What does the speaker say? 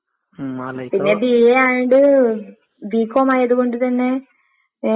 ഉം.